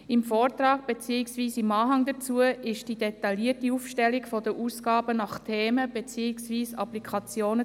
Im Vortrag, beziehungsweise in dessen Anhang, findet sich die detaillierte Auflistung der Ausgaben nach Themen beziehungsweise Applikationen.